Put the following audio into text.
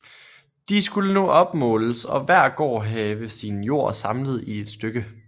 DE skulle nu opmåles og hver gård have sin jord samlet i et stykke